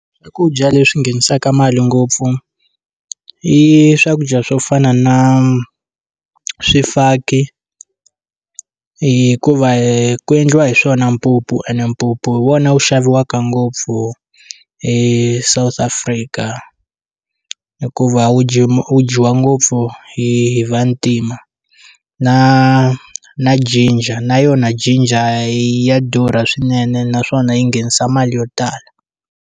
Swakudya leswi nghenisaka mali ngopfu i swakudya swo fana na swifaki hikuva hi ku endliwa hi swona mpupu ene mpupu hi wona wu xaviwaka ngopfu eSouth Africa hikuva wu wu dyiwa ngopfu hi vantima na na ginger na yona ginger ya durha swinene naswona yi nghenisa mali yo tala.